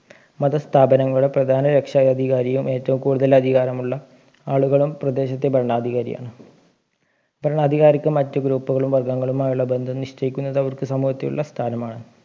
മതസ്ഥാപനങ്ങളുടെ പ്രധാന രക്ഷാധികാരിയും ഏറ്റവും കൂടുതൽ അധികാരമുള്ള ആളുകളും പ്രദേശത്തെ ഭരണാധികാരിയാണ് ഭരണാധികാരിക്ക് മറ്റ് ഗ്രൂപ്പുകളും വർഗ്ഗങ്ങളുമായുളള ബന്ധം നിശ്ചയിക്കുന്നത് അവർക്ക് സമൂഹത്തിലുള്ള സ്ഥാനമാണ്